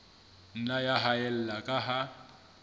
nna ya haella ka ha